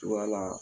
Cogoya la